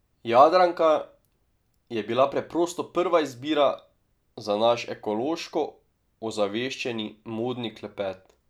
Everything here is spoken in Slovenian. Jadranka je bila preprosto prva izbira za naš ekološko ozaveščeni Modni klepet.